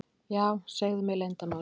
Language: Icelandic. Já, segðu mér leyndarmál.